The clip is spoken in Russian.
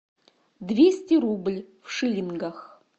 двести рубль в шиллингах